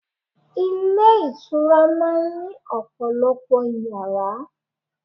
Ilé ìtura máa ń ní ọ̀pọ̀lọpọ̀ Ìyàrá.